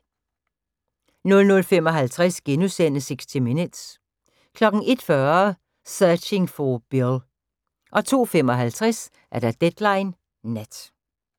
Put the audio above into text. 00:55: 60 Minutes * 01:40: Searching for Bill 02:55: Deadline Nat